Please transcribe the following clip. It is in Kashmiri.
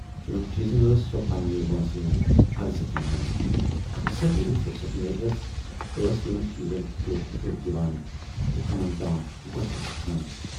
یِمن چیٖزن ٲس سۅ پننہِ وٲنسہِ ہٕنز ارزتھ مانان تہٕ اکثر ییلہِ فُرصتھ میلہِ ہٮ۪س، ٲس یِمن چیٖزن پھٮ۪ور پھٮ۪ور دِوان تہٕ کمن تام غۅطن گژھان۔